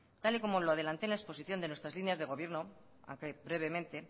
tal y como lo adelanté en la exposición de nuestras líneas de gobierno aunque brevemente